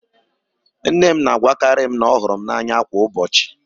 Nne m na-agwakarị m na ọ hụrụ m n'anya kwa ụbọchị.